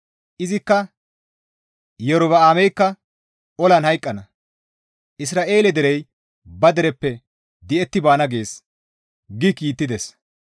Izikka, ‹Iyorba7aameykka olan hayqqana; Isra7eele derey ba dereppe di7etti baana› gees» gi kiittides.